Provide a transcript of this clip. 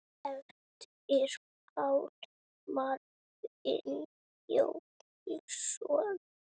eftir Pál Marvin Jónsson